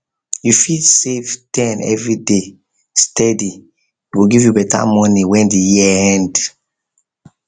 if you fit save ten every day steady e go give you better money when the year end